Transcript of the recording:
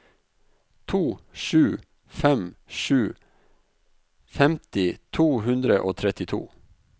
to sju fem sju femti to hundre og trettito